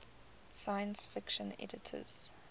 science fiction editors